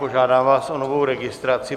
Požádám vás o novou registraci.